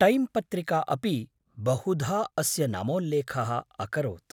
Time पत्रिका अपि बहुधा अस्य नामोल्लेखः अकरोत्।